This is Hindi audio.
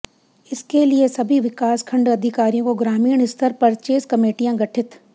इसके लिए सभी विकास खंड अधिकारियों को ग्रामीण स्तर परचेज कमेटियां गठित